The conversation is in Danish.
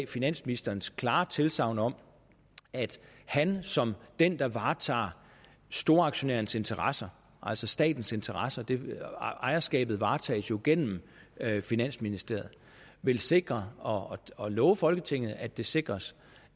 finansministerens klare tilsagn om at han som den der varetager storaktionærens interesser altså statens interesser ejerskabet varetages jo gennem finansministeriet vil sikre og og love folketinget at det sikres